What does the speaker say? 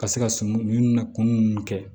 Ka se ka sunɔgɔ kun ninnu kɛ